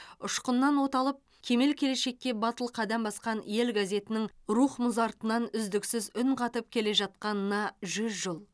ұшқыннан от алып кемел келешекке батыл қадам басқан ел газетінің рух мұзартынан үздіксіз үн қатып келе жатқанына жүз жыл